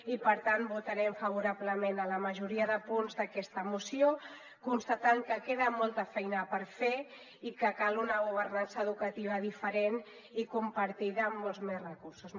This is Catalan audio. i per tant votarem favorablement a la majoria de punts d’aquesta moció constatant que queda molta feina per fer i que cal una governança educativa diferent i compartida amb molts més recursos